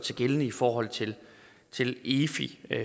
sig gældende i forhold til til efi